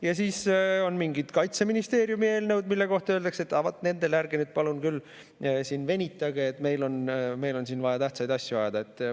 Ja siis on mingid Kaitseministeeriumi eelnõud, mille kohta öeldakse: vaat nende puhul ärge nüüd küll siin palun venitage, meil on vaja tähtsaid asju ajada.